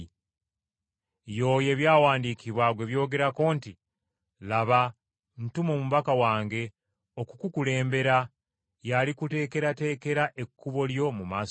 Y’oyo ebyawandiikibwa gwe byogerako nti, “ ‘Laba, ntuma omubaka wange okukukulembera, y’alikuteekerateekera ekkubo lyo mu maaso go.’ ”